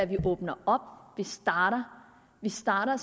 vi åbner og starter starter